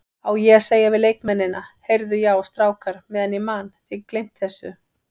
Á ég að segja við leikmennina, Heyrðu já strákar meðan ég man, þið gleymt þessu?